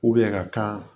ka kan